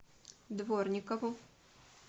дворникову